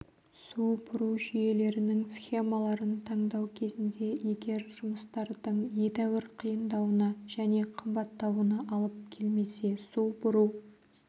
су бұру жүйелерінің схемаларын таңдау кезінде егер жұмыстардың едәуір қиындауына және қымбаттауына алып келмесе су бұру